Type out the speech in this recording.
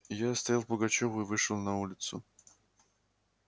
я оставил пугачёва и вышел на улицу